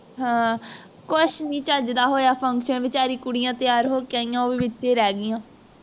ਹਾਂ ਕੁਛ ਨੀ ਚੱਜਦਾ ਹੋਇਆ function ਚ ਵਿਚਾਰੀ ਕੁੜੀਆਂ ਤੈਯਾਰ ਹੋਕੇ ਆਇਆ ਉਹ ਵੀ ਵਿਚੇ ਰਹਿ ਗਈਆ